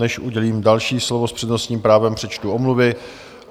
Než udělím další slovo s přednostním právem, přečtu omluvy.